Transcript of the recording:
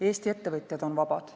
Eesti ettevõtjad on vabad.